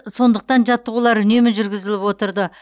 сондықтан жаттығулар үнемі жүргізіліп отырды